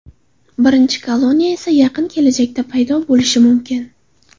Birinchi koloniya esa yaqin kelajakda paydo bo‘lishi mumkin.